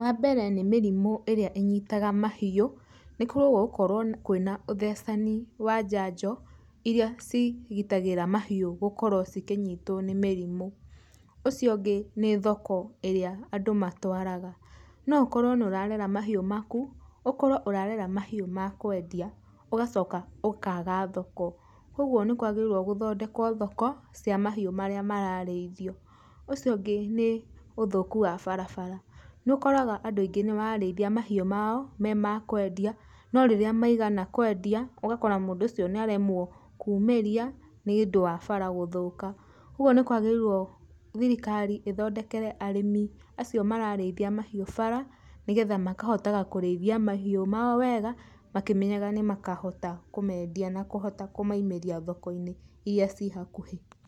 Wa mbere nĩ mĩrimũ ĩrĩa ĩnyitaga mahiũ, nĩ kwagĩrĩirwo gũkorwo kwĩna ũthecani wa janjo, iria cigitagĩra mahiũ gũkorwo cikĩnyitwo nĩ mĩrimũ. Ũcio ũngĩ nĩ thoko ĩrĩa andũ matwaraga. No ũkorwo nĩ ũrarera mahiũ maku, ũkorwo ũrarera mahiũ ma kwendia, ũgacoka ũkaga thoko. Kogwo nĩ kwagĩrĩirwo gũthondekwo thoko, cia mahiũ marĩa mararĩithio. Ũcio ũngĩ nĩ ũthũku wa barabara. Nĩ ũkoraga andũ aingĩ nĩ marareithia mahiũ mao me ma kwendia, no rĩrĩa maigana kwendia, ũgakora mũndũ ũcio nĩ aremwo kumĩrĩa nĩ ũndũ wa bara gũthũka. Kogwo nĩ kwagĩrĩirwo thirikari ĩthondekere arĩmi acio marareithia mahiũ bara, nĩgetha makahotaga kũreithia mahiũ mao wega, makimenyaga nĩ makahota kũmendia na kũhota kũmaimeria thoko-inĩ iria ci hakuhĩ.